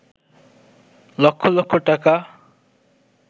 লক্ষ লক্ষ টাকা